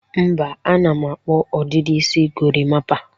Mba, ana m akpụ ọdịdị isi gorimapa.